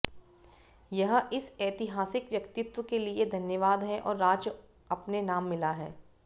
यह इस ऐतिहासिक व्यक्तित्व के लिए धन्यवाद है और राज्य अपने नाम मिला है